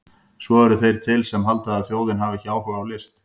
Svo eru þeir til sem halda að þjóðin hafi ekki áhuga á list!